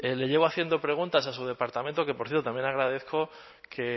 le llevo haciendo preguntas a su departamento que por cierto también agradezco que